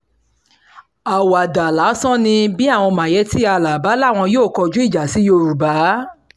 àwàdà lásán ni bí àwọn mayetti allah bá láwọn yóò kọjú ìjà sí yorùbá